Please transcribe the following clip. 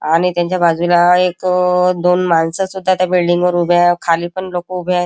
आणि त्याच्या बाजुला एक अ दोन माणसं सुध्दा त्या बिल्डिंग वर उभा खाली पण लोक उभे आहेत.